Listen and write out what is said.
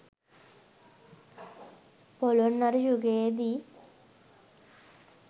පොළොන්නරු යුගයේ දී